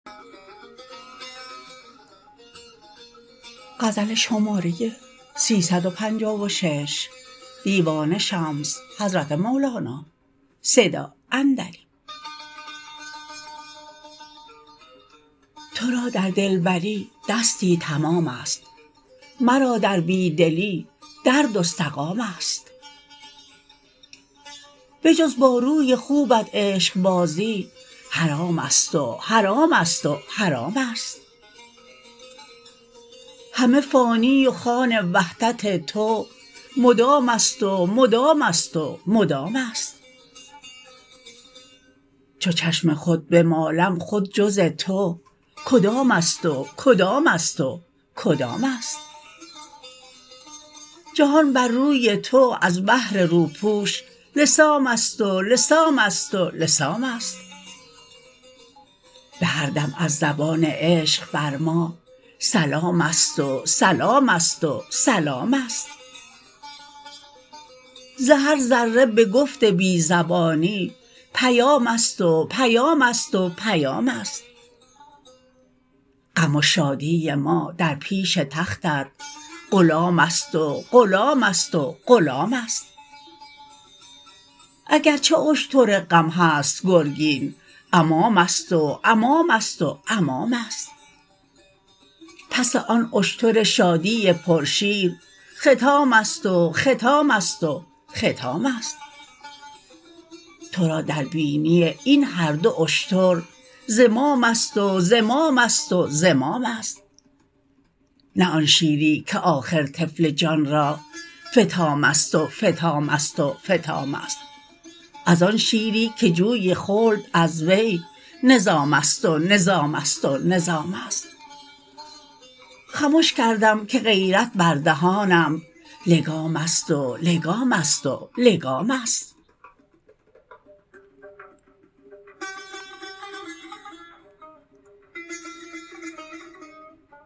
تو را در دلبری دستی تمامست مرا در بی دلی درد و سقامست بجز با روی خوبت عشقبازی حرامست و حرامست و حرامست همه فانی و خوان وحدت تو مدامست و مدامست و مدامست چو چشم خود بمالم خود جز تو کدامست و کدامست و کدامست جهان بر روی تو از بهر روپوش لثامست و لثامست و لثامست به هر دم از زبان عشق بر ما سلامست و سلامست و سلامست ز هر ذره به گفت بی زبانی پیامست و پیامست و پیامست غم و شادی ما در پیش تختت غلامست و غلامست و غلامست اگر چه اشتر غم هست گرگین امامست و امامست و امامست پس آن اشتر شادی پرشیر ختامست و ختامست و ختامست تو را در بینی این هر دو اشتر زمامست و زمامست و زمامست نه آن شیری که آخر طفل جان را فطامست و فطامست و فطامست از آن شیری که جوی خلد از وی نظامست و نظامست و نظامست خمش کردم که غیرت بر دهانم لگامست و لگامست و لگامست